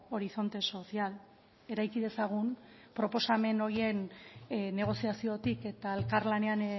horizonte social eraiki dezagun proposamen horien negoziaziotik eta elkarlanean